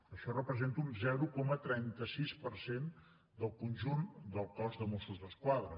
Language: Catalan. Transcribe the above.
això representa un zero coma trenta sis per cent del conjunt del cos de mossos d’esquadra